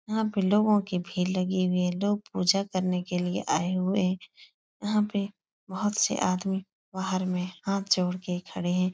वहाँ पर लोगो की भीड़ लगी हुइ है। लोग पूजा करने के लिए आये हुए हैं। वहाँ पे बोहोत से आदमी बाहर मे हाथ जोड़े खड़े हैं।